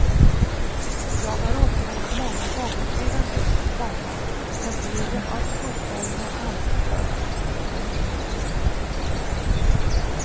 Jag har återvänt många gånger sedan dess, komma men bilden av sopbergen har alltid följt mig. punkt